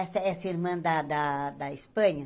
Essa essa irmã da da da Espanha?